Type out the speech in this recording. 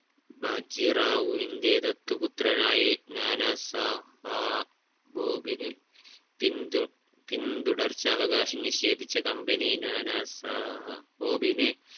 ബജി റാവുവിന്റെ ദത്തുപുത്രനായി നാനാ സാഹാ ബോഗിന് പിന്തു പിന്തുടർച്ചാവകാശം നിഷേധിച്ച company നാനാ സാഹഭോഗിനെ